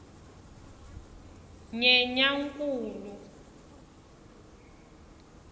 nyenyankulu